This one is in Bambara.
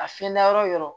A fiyɛ na yɔrɔ yɔrɔ